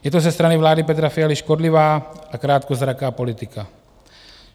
Je to ze strany vlády Petra Fialy škodlivá a krátkozraká politika.